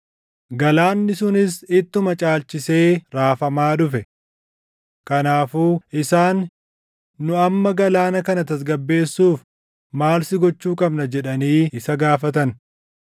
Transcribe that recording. Galaanni sunis ittuma caalchisee raafamaa dhufe. Kanaafuu isaan, “Nu amma galaana kana tasgabbeessuuf maal si gochuu qabna?” jedhanii isa gaafatan.